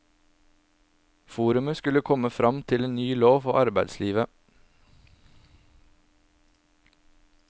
Forumet skulle komme fram til en ny lov for arbeidslivet.